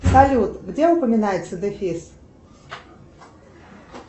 салют где упоминается дефис